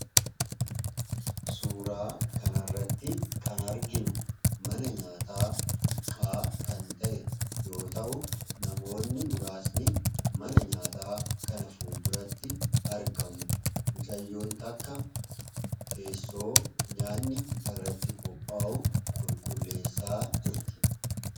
Suuraa kan irratti kan arginu mana nyaataa xiqqaa kan ta'e yoo ta'u namoonni muraasni mana nyaataa kana ful duratti argamu. Mucayyoon takka teessoo nyaanni irratti kophaa'uu qulqulleessaa jirti.